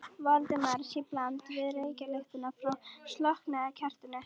Valdimars í bland við reykjarlyktina frá slokknaða kertinu.